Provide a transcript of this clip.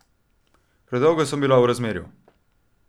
Predolgo sem bila v razmerju.